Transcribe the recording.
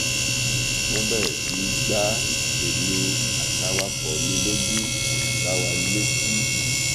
wọn bẹrẹ sí í gba èmi àtàwàkọ mi lójú gbá wa létí